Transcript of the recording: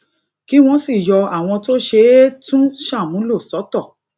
kí wón sì yọ àwọn tó ṣe é tún ṣàmúlò sọtọ